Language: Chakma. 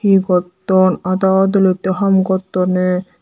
he gotton ada ham gottone.